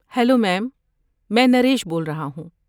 Hello ma'am. میں نریش بول رہا ہوں۔